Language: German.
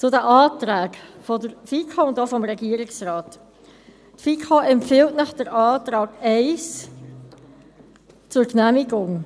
Zu den Anträgen der FiKo und auch des Regierungsrates: Die FiKo empfiehlt Ihnen den Antrag 1 zur Genehmigung.